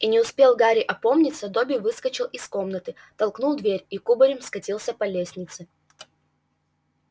и не успел гарри опомниться добби выскочил из комнаты толкнул дверь и кубарем скатился по лестнице